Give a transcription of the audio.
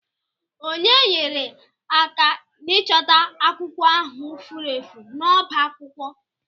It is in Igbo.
Ònye nyere aka n'ịchọta akwụkwọ ahụ furu efu n'ọbá akwụkwọ?